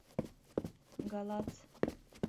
галац